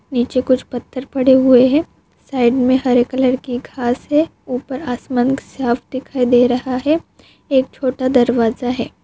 नीचे कुछ पथर खड़े हुए है साइड मे हरे कलर की घास है उपर आसमान साफ दिखाई दे रहा है एक छोटा दरवाजा है।